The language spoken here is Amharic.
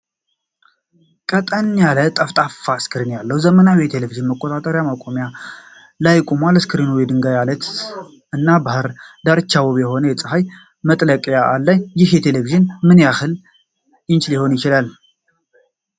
ቀጠን ያለ ጠፍጣፋ ስክሪን ያለው ዘመናዊ ቴሌቪዥን በጠቆረ ማቆሚያዎች ላይ ቆሟል። ስክሪኑ የድንጋይ ዓለት እና የባህር ዳርቻ ውብ የሆነ የፀሐይ መጥለቅ አለ። ይህ ቴሌቪዥን ምን ያህል ኢንች ሊሆን ይችላል?